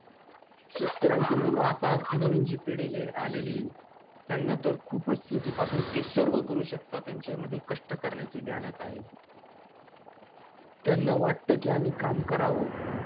शेतकऱ्यांची मुलं आता नवीन जी पिढीली~ आलेली, त्यांना तर खूपच पासून ते सर्व करू शकतात, त्यांच्यामध्ये कष्ट करण्याची ध्यानात आहे. त्यांना वाटतं की, आम्ही काम करावं,